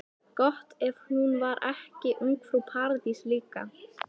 Gott ef hún var ekki ungfrú Paradís líka.